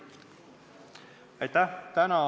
Aitäh!